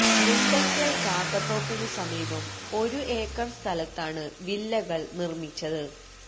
മുണ്ടയ്ക്കൽ കാക്കത്തോപ്പിനു സമീപം ഒരു ഏക്കർ സ്ഥലത്താണ് വില്ലകൾ നിർമിച്ചത്